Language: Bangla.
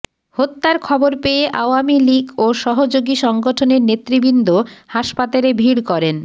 হত্যার খবর পেয়ে আওয়ামী লীগ ও সহযোগী সংগঠনের নেতৃবৃন্দ হাসপাতালে ভীড় করেন